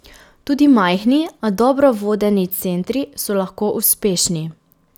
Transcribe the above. Tudi majhni, a dobro vodeni centri, so lahko uspešni.